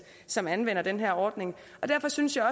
som anvender den her ordning og derfor synes jeg